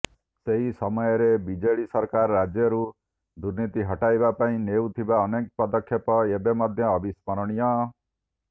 ସେହି ସମୟରେ ବିଜେଡ଼ି ସରକାର ରାଜ୍ୟରୁ ଦୁର୍ନୀତି ହଟାଇବା ପାଇଁ ନେଇଥିବା ଅନେକ ପଦକ୍ଷେପ ଏବେ ମଧ୍ୟ ଅବିସ୍ମରଣୀୟ